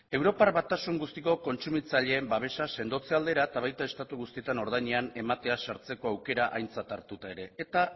europar batasun guztiko kontsumitzaileen babesa sendotze aldera eta baita estatu guztietan ordainean ematea sartzeko aukera aintzat hartuta ere eta